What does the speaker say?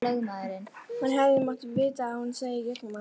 Hann hefði mátt vita að hún sæi í gegnum hann.